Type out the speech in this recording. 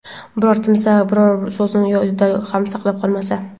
Biror kimsa biror so‘zini Yodida ham saqlab qolmasa.